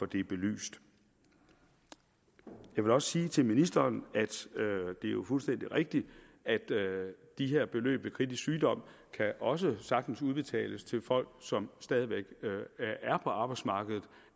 det belyst jeg vil også sige til ministeren at det jo er fuldstændig rigtigt at de her beløb ved kritisk sygdom også sagtens kan udbetales til folk som stadig væk er på arbejdsmarkedet